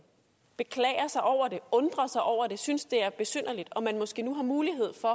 beklager sig over det undrer sig over det og synes det er besynderligt og man måske nu har mulighed for